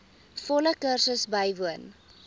volle kursus bywoon